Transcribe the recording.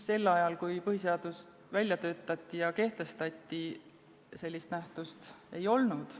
Sel ajal, kui põhiseadust välja töötati ja see kehtestati, sellist nähtust ei olnud.